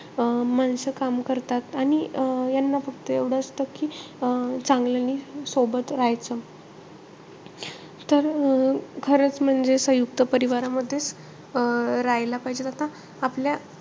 अं माणसं काम करतात. आणि अं यांना फक्त एव्हडं असतं कि अं चांगल्यानी सोबत राहायचं. तर, अं खरंच म्हणजे सयुंक्त परिवारामध्ये अं राहायला पाहिजे. आता आपल्या,